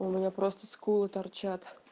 у меня просто скулы торчат